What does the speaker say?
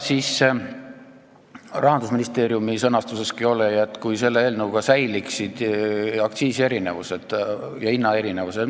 Rahandusministeerium on öelnud, et sellest eelnõust hoolimata säiliksid aktsiisierinevused ja hinnaerinevused.